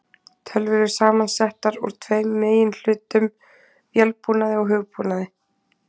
Tölvur eru samansettar úr tveimur meginhlutum, vélbúnaði og hugbúnaði.